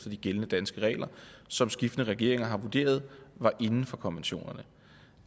de gældende danske regler som skiftende regeringer har vurderet var inden for konventionerne